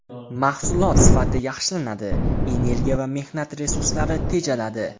Mahsulot sifati yaxshilanadi, energiya va mehnat resurslari tejaladi.